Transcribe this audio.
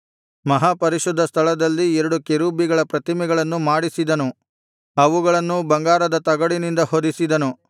ಮಹಾಪರಿಶುದ್ಧ ಸ್ಥಳದಲ್ಲಿ ಎರಡು ಕೆರೂಬಿಗಳ ಪ್ರತಿಮೆಗಳನ್ನು ಮಾಡಿಸಿದನು ಅವುಗಳನ್ನೂ ಬಂಗಾರದ ತಗಡಿನಿಂದ ಹೊದಿಸಿದನು